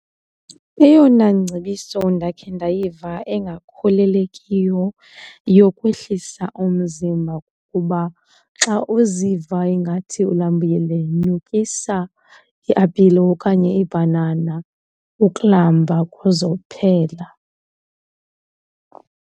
Eyona ngcebiso ndakhe ndayiva engakholelekiyo yokwehlisa umzimba kukuba xa uziva ingathi ulambile nukisa iapile okanye ibhanana ukulamba kuzophela.